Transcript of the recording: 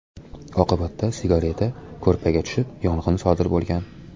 Oqibatda sigareta ko‘rpaga tushib, yong‘in sodir bo‘lgan.